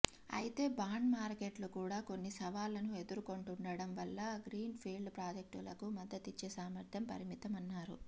అయితే బాండ్ మార్కెట్లు కూడా కొన్ని సవాళ్లను ఎదుర్కొంటుండటం వల్ల గ్రీన్ ఫీల్డ్ ప్రాజెక్టులకు మద్దతిచ్చే సామర్థ్యం పరిమితమన్నారు